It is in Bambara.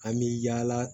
An bɛ yaala